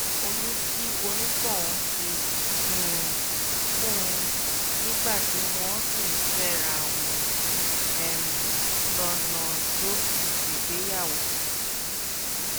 oyún tí onítọ̀hún ti um fún un nígbà tí wọ́n sì ń fẹ́ra wọn um lọ́nà ló fi ṣègbéyàwó